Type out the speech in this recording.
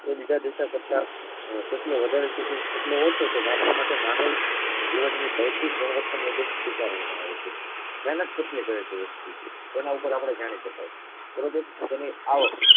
તો બીજા દેશો કરતા કરતા કેટલો વધારે છે કે કેટલો ઓછો છે માપવા માટે માનવ જીવનની ભૌતિકગુણવત્તા નો દર સ્વીકારવામાં આવે છે મહેનત કેટલી કરે છે વ્યક્તિ તેના ઉપર આપણે જાણી શકાય બરોબર